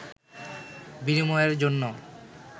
বিনিময়ের জন্য